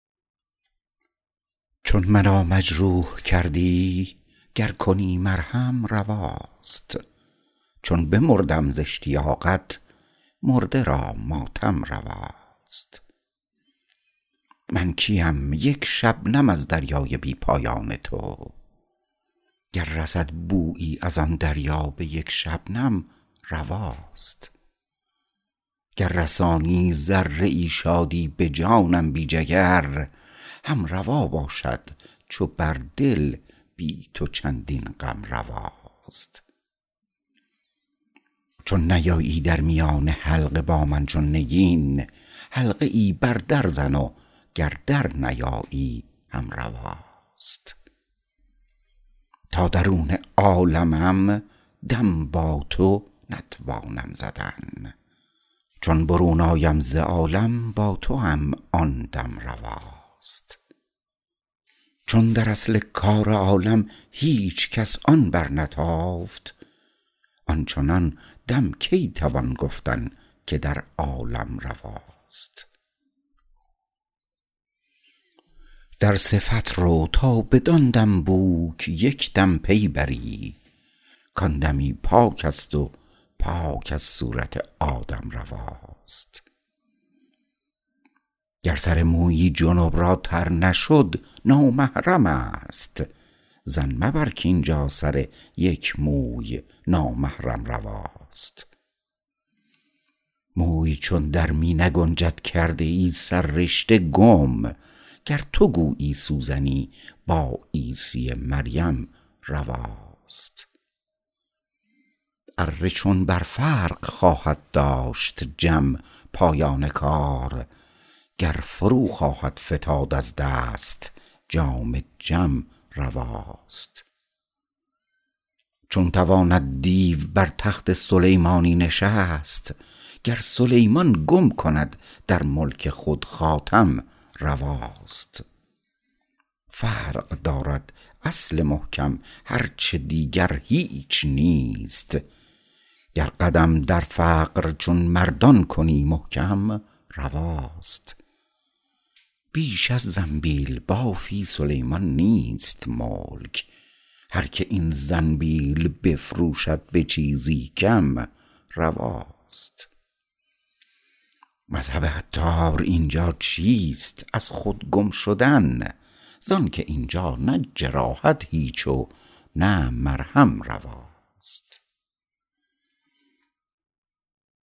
چون مرا مجروح کردی گر کنی مرهم رواست چون بمردم ز اشتیاقت مرده را ماتم رواست من کیم یک شبنم از دریای بی پایان تو گر رسد بویی از آن دریا به یک شبنم رواست گر رسانی ذره ای شادی به جانم بی جگر هم روا باشد چو بر دل بی تو چندین غم رواست چون نیایی در میان حلقه با من چون نگین حلقه ای بر در زن و گر در نیایی هم رواست تا درون عالمم دم با تو نتوانم زدن چون برون آیم ز عالم با توام آن دم رواست چون در اصل کار عالم هیچکس آن برنتافت آنچنان دم کی توان گفتن که در عالم رواست در صفت رو تا بدان دم بوک یکدم پی بری کان دمی پاک است و پاک از صورت آدم رواست گر سر مویی جنب را تر نشد نامحرم است ظن مبر کاینجا سر یک موی نامحرم رواست موی چون در می نگنجد کرده ای سررشته گم گر تو گویی سوزنی با عیسی مریم رواست اره چون بر فرق خواهد داشت جم پایان کار گر فرو خواهد فتاد از دست جام جم رواست چون تواند دیو بر تخت سلیمانی نشست گر سلیمان گم کند در ملک خود خاتم رواست فقر دارد اصل محکم هرچه دیگر هیچ نیست گر قدم در فقر چون مردان کنی محکم رواست بیش از زنبیل بافی سلیمان نیست ملک هر که این زنبیل بفروشد به چیزی کم رواست مذهب عطار اینجا چیست از خود گم شدن زانکه اینجا نه جراحت هیچ و نه مرهم رواست